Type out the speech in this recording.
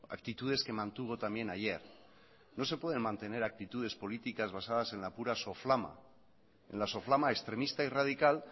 actitudes que mantuvo también ayer no se pueden mantener actitudes políticas basadas en la pura soflama en la soflama extremista y radical